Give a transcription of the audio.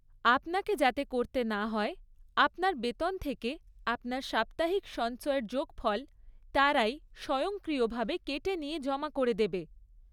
আপনাকে যাতে করতে না হয়, আপনার বেতন থেকে আপনার সাপ্তাহিক সঞ্চয়ের যোগফল তারাই স্বয়ংক্রিয়ভাবে কেটে নিয়ে জমা করে দেবে।